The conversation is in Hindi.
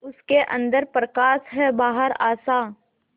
उसके अंदर प्रकाश है बाहर आशा